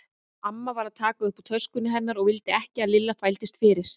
Amma var að taka upp úr töskunni hennar og vildi ekki að Lilla þvældist fyrir.